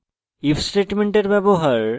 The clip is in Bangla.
if স্টেটমেন্টের ব্যবহার